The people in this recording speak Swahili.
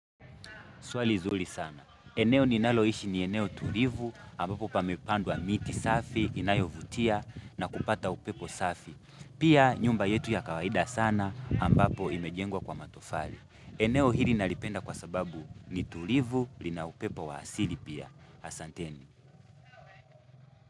Swali zuri sana. Eneo ninaloishi ni eneo tulivu ambapo pamepandwa miti safi, inayovutia na kupata upepo safi. Pia nyumba yetu ya kawaida sana ambapo imejengwa kwa matofali. Eneo hili nalipenda kwa sababu ni tulivu lina upepo wa asili pia. Asanteni.